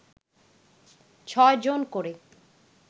ছয় জন করে